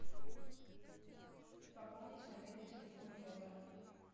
пополнить мобильный телефон йота